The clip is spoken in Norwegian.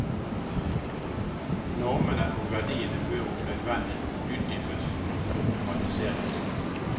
Normene og verdiene bør om nødvendig utdypes og problematiseres.